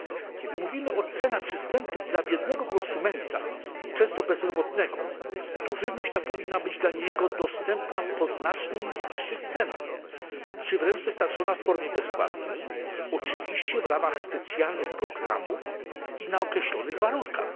Kiedy mówimy o cenach przystępnych dla biednego konsumenta, często bezrobotnego, to żywność ta powinna być dla niego dostępna po znacznie niższych cenach, czy wręcz dostarczona w formie bezpłatnej, oczywiście w ramach specjalnych programów i na określonych warunkach.